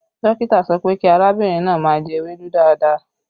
Dókítà sọ pé kí arábìnrin náà má jẹ ewédú dáadáa